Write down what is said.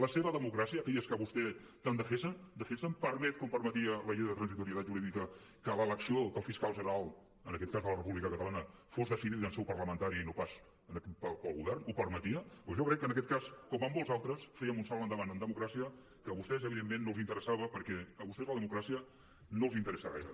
la seva democràcia aquella que vostès tant defensen permet com permetia la llei de transitorietat jurídica que l’elecció del fiscal general en aquest cas de la república catalana fos decidida en seu parlamentària i no pas pel govern ho permetia doncs jo crec que en aquest cas com en molts d’altres fèiem un salt endavant en democràcia que a vostès evidentment no els interessava perquè a vostès la democràcia no els interessa gaire